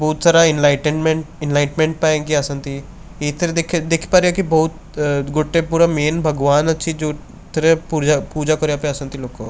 ବହୁତ ସାରା ଇନଲାଇଟେଟମେଣ୍ଟ ଇନଲାଇଟମେଣ୍ଟ ପାଇଁକି ଆସନ୍ତି ଏଇଥିରେ ଦେଖିପାରିବେକି ବହୁତ ଗୁଟେ ପୁରା ମେନ ଭଗବାନ ଅଛି ଯେଉଁଥିରେ ପୂଜା କରିବାପାଇଁ ଆସନ୍ତି ଲୋକ।